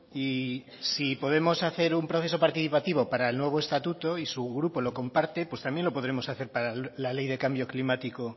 y si podemos hacer un proceso participativo para el nuevo estatuto y su grupo lo comparte pues también lo podremos hacer para la ley de cambio climático